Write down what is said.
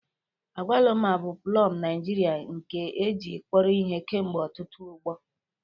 Agwaluma bụ plọm Naijirịa nke e ji kpọrọ ihe kemgbe ọtụtụ ọgbọ.